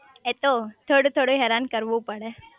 એ તો થોડું થોડું હેરાન કરવું પડે